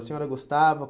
A senhora gostava?